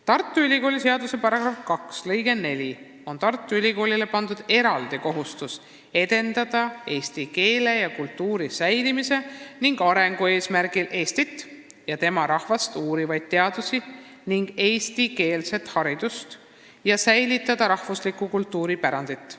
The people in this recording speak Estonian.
Tartu Ülikooli seaduse § 2 lõikes 4 on Tartu Ülikoolile pandud eraldi kohustus edendada eesti keele ja kultuuri säilimise ning arengu eesmärgil Eestit ja tema rahvast uurivaid teadusi ja eestikeelset haridust ning säilitada rahvuslikku kultuuripärandit.